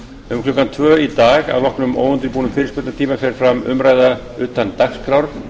um klukkan tvö í dag að loknum óundirbúnum fyrirspurnatíma fer fram umræða utan dagskrár